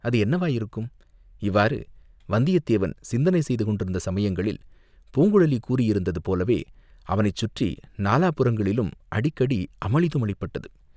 அது என்னவாயிருக்கும், இவ்வாறு வந்தியத்தேவன் சிந்தனை செய்து கொண்டிருந்த சமயங்களில், பூங்குழலி கூறியிருந்தது போலவே, அவனைச் சுற்றி நாலாபுறங்களிலும் அடிக்கடி அமளிதுமளிப்பட்டது.